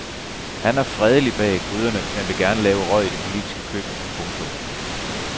Han er fredelig bag gryderne men vil gerne lave røg i det politiske køkken. punktum